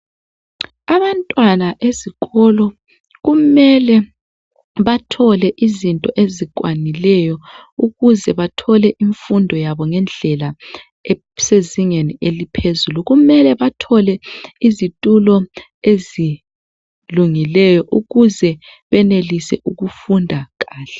Abantwana ezikolo kumele bathole izinto ezikwanileyo ukuze bathole imfundo yabo ngedlela elisezingeni eliphezulu. Kumele bathole izithulo ezilungileyo ukuze banelise ukufunda kahle.